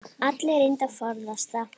Allir reyndu að forðast það.